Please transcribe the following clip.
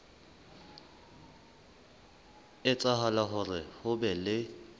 etsahala hore ho be le